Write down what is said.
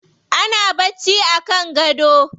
Ana bacci a kan gado.